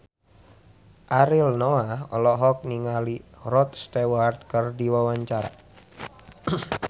Ariel Noah olohok ningali Rod Stewart keur diwawancara